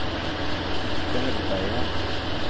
Kjenner du deg igjen?